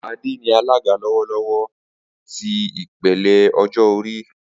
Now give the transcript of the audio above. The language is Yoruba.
Ade ni alaga lọwọlọwọ ti ipele ọjọ-ori.